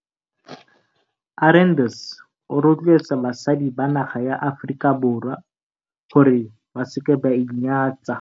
Arendse o rotloetsa basadi ba naga ya Aforika Borwa gore ba se ke ba inyatsa.